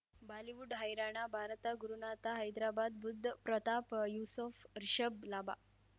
Bollywood ಹೈರಾಣ ಭಾರತ ಗುರುನಾಥ ಹೈದ್ರಾಬಾದ್ ಬುಧ್ ಪ್ರತಾಪ್ ಯೂಸುಫ್ ರಿಷಬ್ ಲಾಭ